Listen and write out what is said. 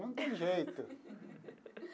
Não tem jeito.